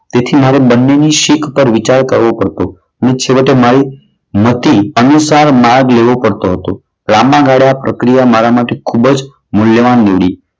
તેથી મારે બંનેની શીખ પર વિચાર કરવો પડતો અને છેવટે મારી મતિ અનુસાર માર્ગ લેવો પડતો હતો. લાંબા ગાળ્યા પ્રક્રિયા મારા માટે ખૂબ જ મૂલ્યવાન નીવડી.